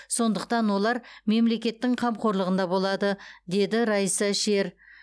сондықтан олар мемлекеттің қамқорлығында болады деді райса шер